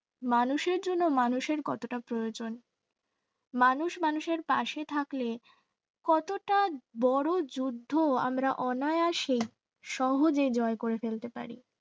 মানুষের জন্য মানুষের কতটা প্রয়োজন মানুষ মানুষের পাশে থাকলে কতটা বড় যুদ্ধ আমরা অনায়াসে সহজে জয় করে ফেলতে পারি